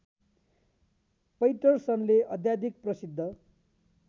पैटरसनले अत्याधिक प्रसिद्ध